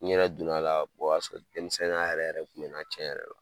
N yɛrɛ donna a la o y'a sɔrɔ denmisɛnninya yɛrɛ yɛrɛ tun bɛna tiɲɛ yɛrɛ la.